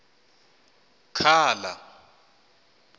khala